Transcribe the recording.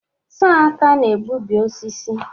Sọr aka na-egbubi osisi.